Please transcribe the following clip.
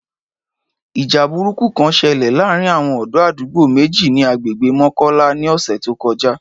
Ìjà burúkú kan ṣẹlẹ̀ láàárín àwọn ọ̀dọ́ àdúgbò méjì ni àgbègbè Mọ́kọ́lá ní ọ̀sẹ̀ tó kọjá